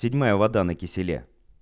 седьмая вода на киселе